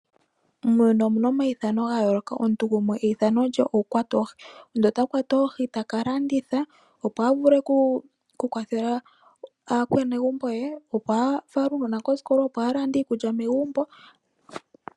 Muuyuni omu na omayithano ga yooloka, omuntu gumwe eyithano lye oku kwata oohi. Omuntu ota kwata oohi taka landitha opo a vule oku kwathela aakwanegumbo ye, ooo a fale uunona kosikola, opo a lande iikulya megumbo.